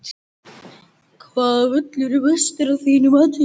Hvaða völlur er bestur af þínu mati?